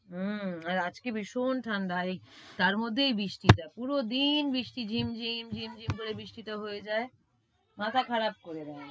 উম আর আজকে ভীষণ ঠাণ্ডা, আর এই তার মধ্যে এই বৃষ্টিটা পুরো দিন বৃষ্টি ঝিমঝিম ঝিমঝিম করে বৃষ্টিটা হয়ে যায়। মাথা খারাপ করে দেয়।